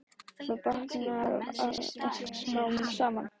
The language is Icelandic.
Þá batnar þetta allt smám saman.